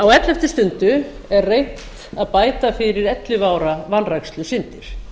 á elleftu stundu er reynt að bæta fyrir ellefu ára vanrækslusyndir